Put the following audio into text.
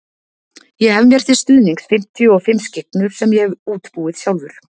Ég hef mér til stuðnings fimmtíu og fimm skyggnur sem ég hef útbúið sjálfur.